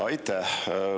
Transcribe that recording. Aitäh!